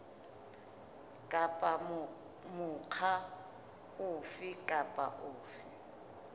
kapa mokga ofe kapa ofe